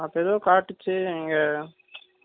அங்க ஏதோ பாத்துட்டு இங்க